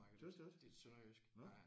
Synes du ikke. Nåh